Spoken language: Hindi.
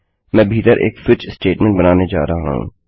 मैं भीतर एक स्विच स्टेटमेंट बनाने जा रहा हूँ